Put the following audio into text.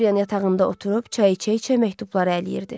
Doryan yatağında oturub çay içə-içə məktubları ələyirdi.